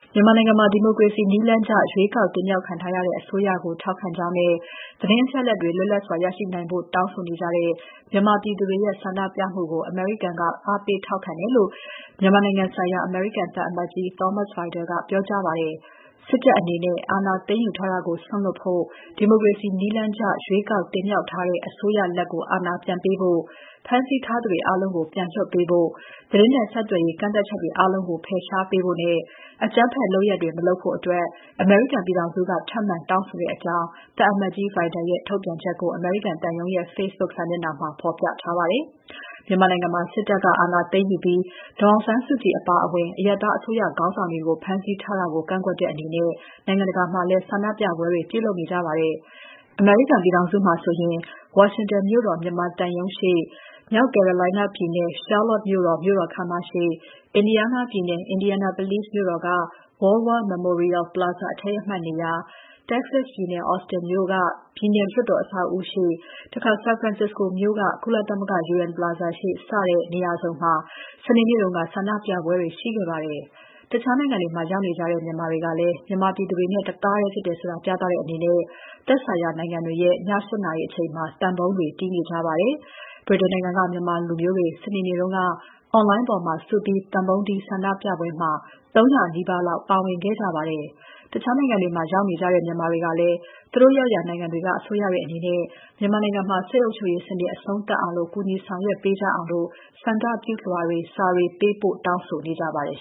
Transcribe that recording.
မြန်မာနိုင်ငံမှာ ဒီမိုကရေစီနည်းလမ်းကျ ရွေးကောက်တင်မြောက်ခံထားရတဲ့ အစိုးရကို ထောက်ခံကြောင်းနဲ့ သတင်းအချက်အလက်တွေ လွတ်လပ်စွာရရှိနိုင်ဖို့ တောင်းဆိုတဲ့ မြန်မာပြည်သူတွေရဲ့ ဆန္ဒပြမှုကို အမေရိကန်က အားပေးထောက်ခံတယ်လို့ မြန်မာနိုင်ငံဆိုင်ရာ အမေရိကန်သံအမတ်ကြီး Thomas Vajda ကပြောကြားပါတယ်။ စစ်တပ်အနေနဲ့ အာဏာသိမ်းယူထားတာကို စွန့်လွှတ်ဖို့ ဒီမိုကရေစီနည်းကျ ရွေးကောက်တင်မြှောက်ထားတဲ့ အစိုးရလက် အာဏာပြန်ပေးဖို့၊ ဖမ်းဆီးထားသူတွေအားလုံးကို ပြန်လွှတ်ပေးဖို့၊ သတင်းနဲ့ဆက်သွယ်ရေး ကန့်သတ်ချက်အားလုံးကို ဖယ်ရှားပေးဖို့နဲ့ အကြမ်းဖက်လုပ်ရပ်တွေ မလုပ်ဖို့ အမေရိကန်ပြည်ထောင်စုက ထပ်မံတောင်းဆိုတဲ့အကြောင်း သံအမတ်ကြီး Vajda ရဲ့ ထုတ်ပြန်ချက်ကို အမေရိကန်သံရုံးရဲ့ Facebook စာမျက်နှာမှာ ဖော်ပြထားပါတယ်။ မြန်မာနိုင်ငံမှာ စစ်တပ်က အာဏာသိမ်းယူပြီး ဒေါ်အောင်ဆန်းစုကြည်အပါအဝင် အရပ်သားအစိုးရခေါင်းဆောင်တွေကို ဖမ်းဆီးထားတာကို ကန့်ကွက်တဲ့အနေနဲ့ နိုင်ငံတကာမှာလည်း ဆန္ဒပြပွဲတွေ ပြုလုပ်နေကြပါတယ်။ အမေရိကန်ပြည်ထောင်စုမှာဆိုရင် ဝါရှင်တန်မြို့တော် မြန်မာသံရုံးရှေ့၊ မြောက် Carolina ပြည်နယ်၊ Charlotte မြို့တော် မြို့တော်ခန်းမရှေ့၊ Indiana ပြည်နယ်၊ Indianapolis မြို့တော်က World War Memorial Plaza အထိမ်းအမှတ်နေရာ၊ Texas ပြည်နယ် Austin မြို့ ပြည်နယ်လွှတ်တော်အဆောက်အဦးရှေ့၊ San Francisco မြို့က ကုလသမဂ္ဂ UN Plaza ရှေ့ စတဲ့ နေရာစုံမှာ စနေနေ့က ဆန္ဒပြပွဲတွေ ရှိခဲ့ပါတယ်။ တခြားနိုင်ငံတွေမှာ ရောက်နေကြတဲ့ မြန်မာတွေကလည်း မြန်မာပြည်သူတွေနဲ့ တသားထဲဖြစ်တယ်ဆိုတာ ပြသတဲ့အနေနဲ့ သက်ဆိုင်ရာနိုင်ငံတွေရဲ့ ည ၈ နာရီအချိန်မှာ သံပုံးတွေ တီးနေကြပါတယ်။ ဗြိတိန်နိုင်ငံက မြန်မာလူမျိုးတွေ စနေနေ့တုန်း Online ပေါ်မှာ စုပြီး သံပုံးတီး ဆန္ဒပြပွဲမှာ ၃၀၀ နီးပါးလောက် ပါဝင်ခဲ့ကြပါတယ်။ တခြားနိုင်ငံတွေမှာ ရောက်နေကြတဲ့ မြန်မာတွေကလည်း သူတို့ရောက်ရာ နိုင်ငံတွေက အစိုးရတွေအနေနဲ့ မြန်မာနိုင်ငံမှာ စစ်အုပ်ချုပ်ရေးစနစ် အဆုံးသတ်အောင် ကူညီဆောင်ရွက်ပေးကြအောင် ဆန္ဒပြုလွှာတွေ၊ စာတွေ ပေးပို့ တောင်းဆိုနေကြပါတယ်